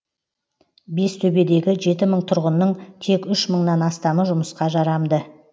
бестөбедегі жеті мың тұрғынның тек үш мыңнан астамы жұмысқа жарамды